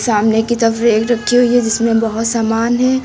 सामने की तरफ रेक रखी हुई है जिसमें बहोत सामान है।